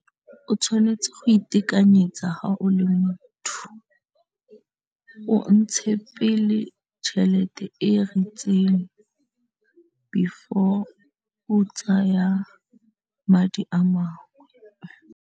O tshwanetse go itekanyetsa ga o le motho o o ntshe pele tšhelete e ritseng before o tsaya madi a mangwe.